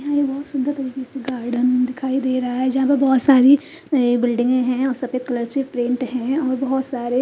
यहाँ एक बहोत सुंदर सा गार्डन दिखाई दे रहा है जहा पर बहोत सारी बिल्डिंगे है और सफेद कलर से पेंट है और बहोत सारे।